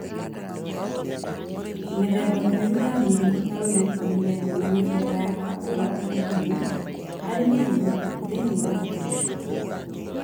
Mĩthemba mĩũru ya mĩrimũ ta Ruiru 11 na mĩthemba ya kahũa ga thumu harĩ mĩrimũ thĩinĩ wa mbegũ cia kahũa